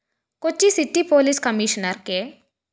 Kochi city police commissioner K